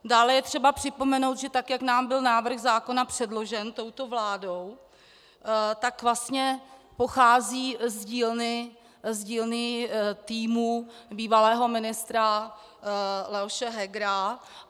Dále je třeba připomenout, že tak jak nám byl návrh zákona předložen touto vládou, tak vlastně pochází z dílny týmu bývalého ministra Leoše Hegera.